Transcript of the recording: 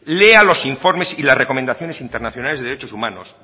lea los informes y las recomendaciones internacionales de derechos humanos